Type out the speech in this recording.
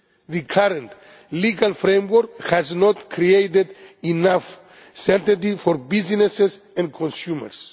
The current legal framework has not created enough certainty for businesses and consumers.